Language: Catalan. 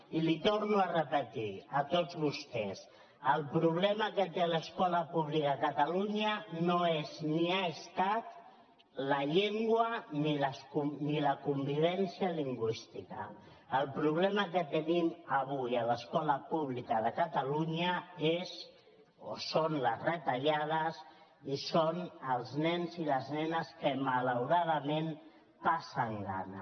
i els ho torno a repetir a tots vostès el problema que té l’escola pública a catalunya no és ni ha estat la llengua ni la convivència lingüística el problema que tenim avui a l’escola pública de catalunya són les retallades i són els nens i les nenes que malauradament passen gana